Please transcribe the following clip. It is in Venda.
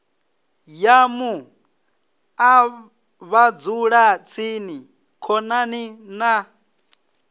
ya muṱa vhadzulatsini khonani na